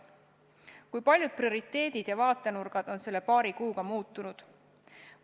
Kui paljud prioriteedid ja vaatenurgad on selle paari kuuga muutunud!